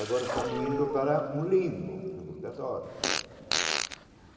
Agora estamos indo para um limbo, que é o purgatório.